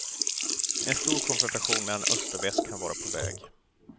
En stor konfrontation mellan öst och väst kan vara på väg.